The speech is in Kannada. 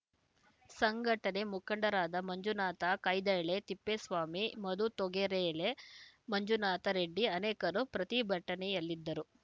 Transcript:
ಸಂಘಟನೆ ಮುಖಂಡರಾದ ಮಂಜುನಾಥ ಕೈದಾಳೆ ತಿಪ್ಪೇಸ್ವಾಮಿ ಮಧು ತೊಗರೆಳೆ ಮಂಜುನಾಥ ರೆಡ್ಡಿ ಅನೇಕರು ಪ್ರತಿಭಟನೆಯಲ್ಲಿದ್ದರು